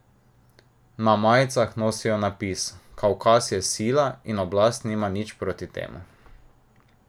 Na majicah nosijo napis: 'Kavkaz je sila' in oblast nima nič proti temu.